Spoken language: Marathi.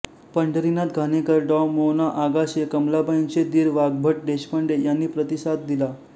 पंढरीनाथ घाणेकर डॉ मो ना आगाशे कमलाबाईंचे दीर वाग्भट देशपांडे यांनी प्रतिसाद दिला